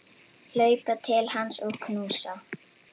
Hlaupa til hans og knúsa.